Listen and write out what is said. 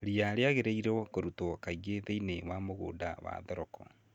Ria rĩagĩrĩirwo kũrutwo kaingĩ thĩiniĩ wa mũgũnda wa thoroko.